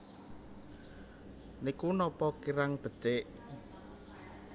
Niku napa kirang becik